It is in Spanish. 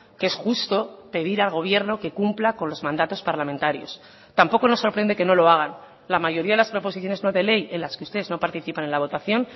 que es justo pedir al gobierno que cumpla con los mandatos parlamentarios tampoco nos sorprende que no lo hagan la mayoría de las proposiciones no de ley en las que ustedes no participan en la votación